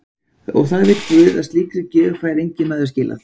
Og það veit guð að slíkri gjöf fær enginn maður skilað.